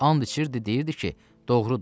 And içirdi, deyirdi ki, doğrudur.